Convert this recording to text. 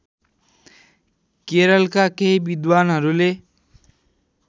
केरलका केही विद्वानहरूले